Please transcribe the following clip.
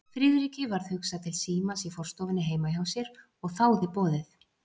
Friðriki varð hugsað til símans í forstofunni heima hjá sér og þáði boðið.